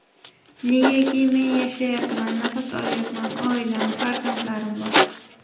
Negaki, men yashayapman, nafas olayapman, oilam, farzandlarim bor.